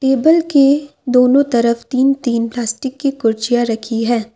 Table के दोनों तरफ तीन तीन प्लास्टिक की कुर्सियां रखी है।